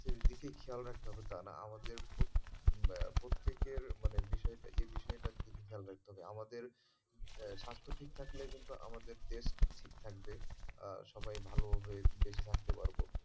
দিকে খেয়াল রাখতে হবে তা না আমাদের প্রত্যেক~প্রত্যেকের মানে বিষয়টা এই বিষয়টা খেয়াল রাখতে হবে আমাদের স্বাস্থ্য ঠিক থাকলে কিন্তু আমাদের দেশ ঠিক থাকবে সবাই ভালো হয়ে বেঁচে থাকতে পারবো।